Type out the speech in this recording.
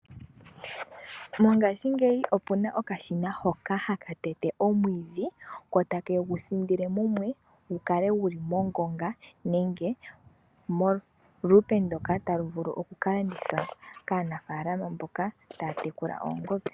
Mongashingeyi opuna okashina hoka haka tete omwiidhi ko take gu thindile mumwe gukale guli mongonga nenge molupe ndika talu vulu okuka landithwa kaanafaalama mboka taya tekula oongombe.